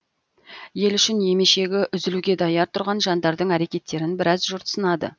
ел үшін емешегі үзілуге даяр тұрған жандардың әрекеттерін біраз жұрт сынады